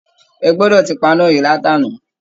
Ẹ gbọdọ̀ ti paná yìí láti àná!